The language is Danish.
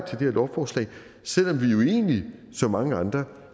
her lovforslag selv om vi jo egentlig som mange andre